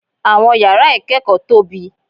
Àwọn yàrá ìkẹ́kọ̀ọ́ tóbi.